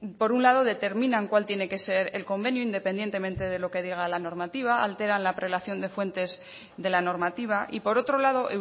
por un lado determinan cuál tiene que ser el convenio independientemente de lo que diga la normativa alteran la prelación de fuentes de la normativa y por otro lado